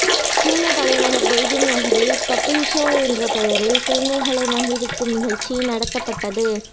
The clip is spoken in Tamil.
சீன தலைநகர் பெய்ஜிங் நகரில் பப்பிள் ஷோ என்ற பெயரில் குழந்தைகளை மகிழ்விக்கும் நிகழ்ச்சி நடத்தப்பட்டது